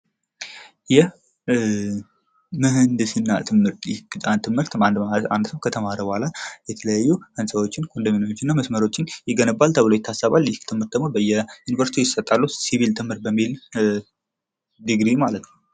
የምህንድስና ትምህርት አንድ ሰዉ ከተማረ በኋላ የተለያዩ ህንፃዎችን፣ ኮንዶሚኒየሞችን እና መስመሮችን ይገነባል ተብሎ ይታሰባል። ይህ ትምህርት ደግሞ በየዩኒቨርስቲዎች ይሰጣሉ ሲቪል በሚል ዲግሪ ማለት ነዉ።